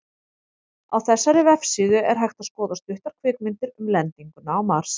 Á þessari vefsíðu er hægt að skoða stuttar kvikmyndir um lendinguna á Mars.